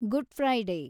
good Friday